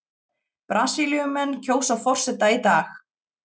Brasilíumenn kjósa forseta í dag